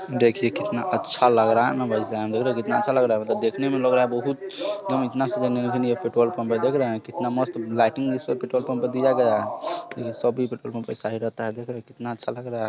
देखिये कितना अच्छा लग रहा है ना देख रहे हो कितना अच्छा लग रहा है मतलब देखने में लग रहा है| | बहुत मतलब इतना पेट्रोल पंप है देख रहे है कितना मस्त लाइटनिंग इस पे पेट्रोल पंप पे दिया गया है देखिये सब ही पेट्रोल पंप के साइड रहता है देख रहे हो कितना अच्छा लग रहा है